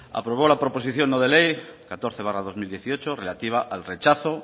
aprobó la proposición no de ley catorce barra dos mil dieciocho relativa al rechazo